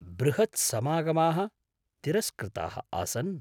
बृहत्समागमाः तिरस्कृताः आसन्।